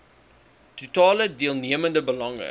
totale deelnemende belange